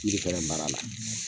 fɛnɛ mara la.